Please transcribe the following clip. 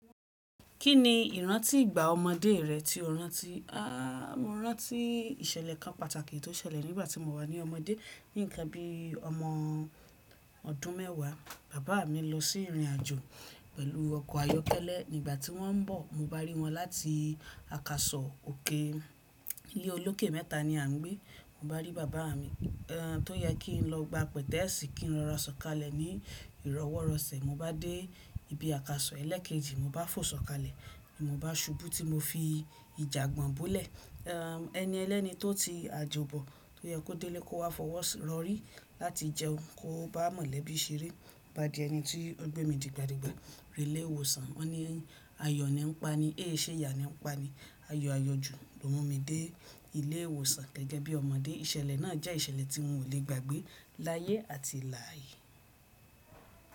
Kí ni ìrántí ìgbà ọmọdé rẹ tí o rántí? Áà, mo rántí ìṣẹ̀lẹ̀ kan pàtàkì tó ṣẹlẹ̀ nígbà tí mo wà ní ọmọdé. Ní ìgbà bí ọmọ ọdún mẹ́wàá, bàbá mi lọ sí ìrìnàjò pẹ̀lú ọkọ̀ ayọ́kẹ́lẹ́. Nígbà tí wọ́n ń bọ̀, mo bá rí wọn láti àkàsọ̀ òkè. Ilé olókè mẹ́ta ni a ń gbé. Mo bá rí bàbá mi, ẹ́n, tó yẹ kí n lọ gba pẹ̀tẹ́ẹ̀sì kí n rọra sọ̀kalẹ̀ ní ìrọwọ́rọsẹ̀. Mo bá dé ibi àkàsọ̀ ẹlẹ́ẹ̀kejì, mo bá fò sọ̀kalẹ̀, mo bá ṣubú tí mo fi ìjà gbọ̀n bó lẹ̀. Ẹ́n, ẹni ẹlẹ́ni tó ti àjòbọ̀ tó yẹ kó délé kó wá fọwọ́ sọ̀ rọrí láti jẹun kó bá mọ̀lẹ́bí i ṣeré. Mo bá di ẹni tí ó gbé mi dìgbàdìgbà. Dílé ìwòsàn, wọ́n ní ayọ̀ ni ó ń pa ní, ẹṣe yà ni ó ń pa ní. Ayo ayọ̀ jù ló mú mi dé ilé ìwòsàn gẹ́gẹ́ bí ọmọdé. Ìṣẹ̀lẹ̀ náà jẹ́ ìṣẹ̀lẹ̀ tí mo ò lè gbàgbé láyé àti lààyè.